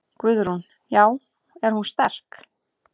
Guðrún: Já er hún sterk?